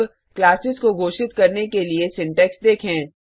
अब क्लासेस को घोषित करने के लिए सिंटेक्स देखें